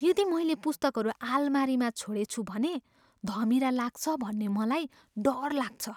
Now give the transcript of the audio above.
यदि मैले पुस्तकहरू आलमारीमा छोडेछु भने, धमिरा लाग्छ भन्ने मलाई डर लाग्छ।